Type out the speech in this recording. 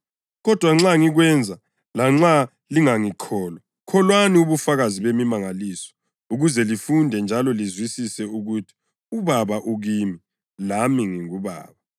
Kodwa nxa ngikwenza, lanxa lingangikholwa, kholwani ubufakazi bemimangaliso ukuze lifunde njalo lizwisise ukuthi uBaba ukimi, lami ngikuBaba.”